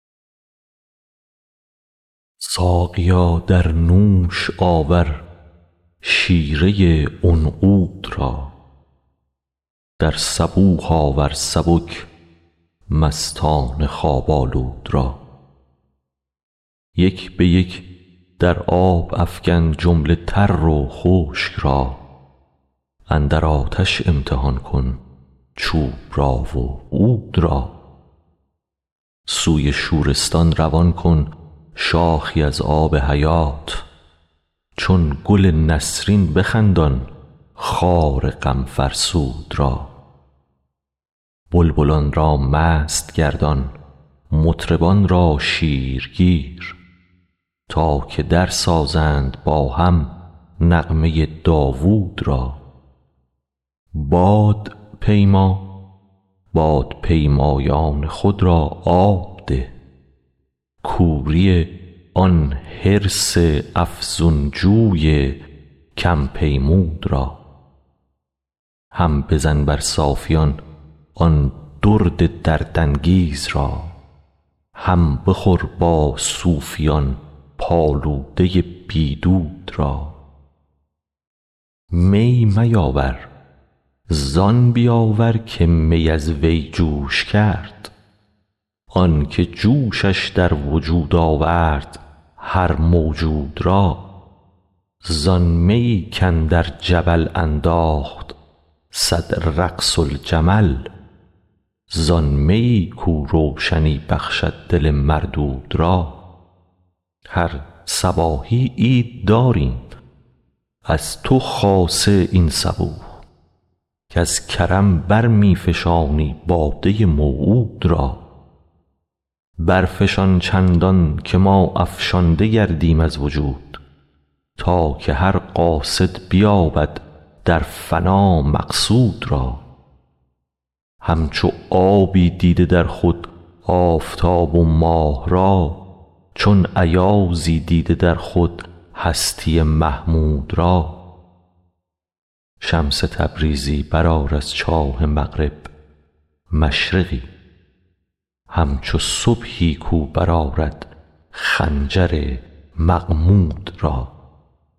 ساقیا در نوش آور شیره عنقود را در صبوح آور سبک مستان خواب آلود را یک به یک در آب افکن جمله تر و خشک را اندر آتش امتحان کن چوب را و عود را سوی شورستان روان کن شاخی از آب حیات چون گل نسرین بخندان خار غم فرسود را بلبلان را مست گردان مطربان را شیرگیر تا که درسازند با هم نغمه داوود را بادپیما بادپیمایان خود را آب ده کوری آن حرص افزون جوی کم پیمود را هم بزن بر صافیان آن درد دردانگیز را هم بخور با صوفیان پالوده بی دود را می میاور زان بیاور که می از وی جوش کرد آنک جوشش در وجود آورد هر موجود را زان میی کاندر جبل انداخت صد رقص الجمل زان میی کاو روشنی بخشد دل مردود را هر صباحی عید داریم از تو خاصه این صبوح که ز کرم بر می فشانی باده موعود را برفشان چندانکه ما افشانده گردیم از وجود تا که هر قاصد بیابد در فنا مقصود را همچو آبی دیده در خود آفتاب و ماه را چون ایازی دیده در خود هستی محمود را شمس تبریزی برآر از چاه مغرب مشرقی همچو صبحی کاو برآرد خنجر مغمود را